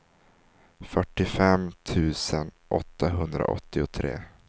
fyrtiofem tusen åttahundraåttiotre